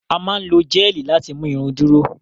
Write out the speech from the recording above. A máa n lo géelí láti mú irun duro.